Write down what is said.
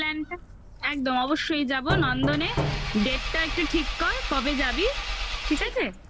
একদম হ্যাঁ এই plan টা একদম অবশ্যই যাবো নন্দনে date টা একটু ঠিক কর কবে যাবি ঠিক আছে?